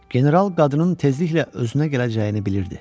General qadının tezliklə özünə gələcəyini bilirdi.